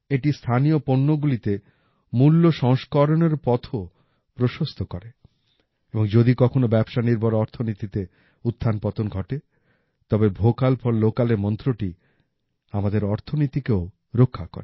এটি স্থানীয় পণ্যগুলিতে মূল্য সংস্করণের পথও প্রশস্ত করে এবং যদি কখনও ব্যবসা নির্ভর অর্থনীতিতে উত্থানপতন ঘটে তবে ভোকাল ফর লোকালের মন্ত্রটি আমাদের অর্থনীতিকেও রক্ষা করে